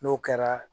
N'o kɛra